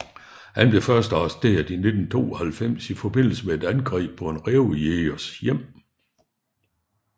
Han blev først arresteret i 1992 i forbindelse med et angreb på en rævejægers hjem